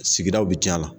Sigidaw bɛ tiɲɛ la